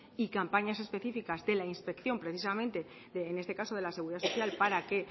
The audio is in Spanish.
y campañas específicas de la inspección precisamente en este caso de la seguridad social para que